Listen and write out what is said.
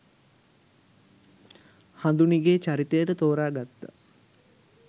හඳුනිගේ චරිතයට තෝරාගත්තා